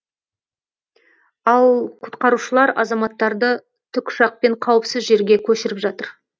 ал құтқарушылар азаматтарды тікұшақпен қауіпсіз жерге көшіріп жатыр